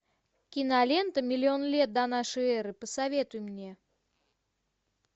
кинолента миллион лет до нашей эры посоветуй мне